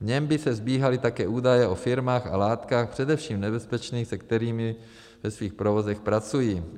V něm by se sbíhaly také údaje o firmách a látkách, především nebezpečných, se kterými ve svých provozech pracují.